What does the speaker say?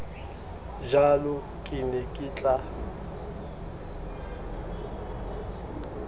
jalo ke ne ke tla